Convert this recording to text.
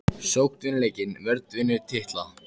Sókn vinnur leiki vörn vinnur titla???